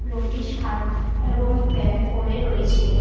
লোকটি শার্ট এবং প্যান্ট পরে রয়েছে।